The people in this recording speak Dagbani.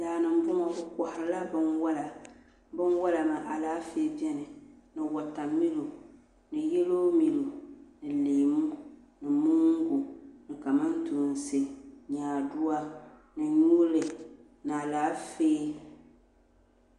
daa ni m-bɔŋɔ bɛ kɔhirila binwala binwala maa alaafee beni ni watamilo ni yelomilo ni leemu ni moongu ni kamantoosi nyaadua ni yuli ni alaafee